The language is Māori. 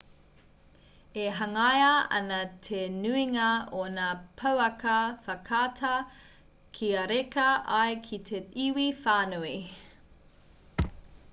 e hangaia ana te nuinga o ngā pouaka whakaata kia reka ai ki te iwi whānui